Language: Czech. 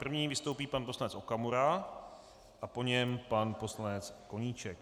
První vystoupí pan poslanec Okamura a po něm pan poslanec Koníček.